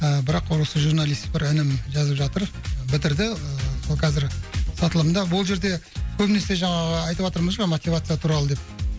ыыы бірақ осы журналист бір інім жазып жатыр бітірді ыыы ол қазір сатылымда бұл жерде көбінесе жаңағы айтыватырмыз ғой мотивация туралы деп